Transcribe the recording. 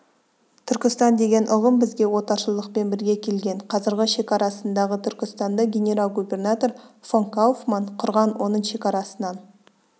түркістан деген ұғым бізге отаршылдықпен бірге келген қазіргі шекарасындағы түркістанды генерал-губернатор фон кауфман құрған оның шекарасынан